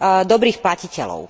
dobrých platiteľov.